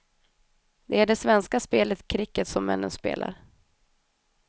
Det är det svenska spelet kricket som männen spelar.